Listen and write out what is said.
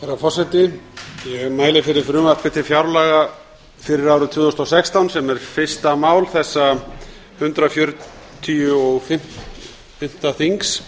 herra forseti ég mæli fyrir frumvarpi til fjárlaga fyrir árið tvö þúsund og sextán sem er fyrsta mál þessa hundrað fertugasta og fimmta þings